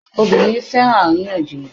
Obìnrin fẹ́ràn àríyànjiyàn